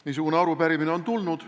Niisugune arupärimine on tulnud ...